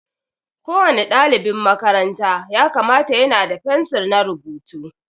Ko wani ɗalibin makaranta ya kamata ya na da fensir na rubutu.